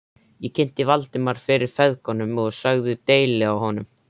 Ég kynnti Valdimar fyrir feðgunum og sagði deili á honum.